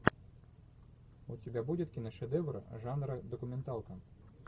у тебя будет киношедевр жанра документалка